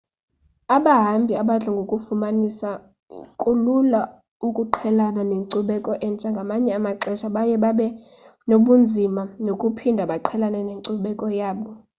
abahambi abadla ngokufumanisa kulula ukuqhelana nenkcubeko entsha ngamanye amaxesha baye babe nobunzima bokuphinda baqhelane nenkcubeko yabo